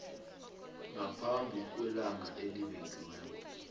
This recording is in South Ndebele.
ngaphambi kwelanga elibekiweko